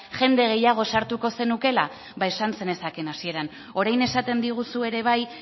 jende gehiago sartuko zenukela ba esan zenezaken hasieran orain esaten diguzu ere bai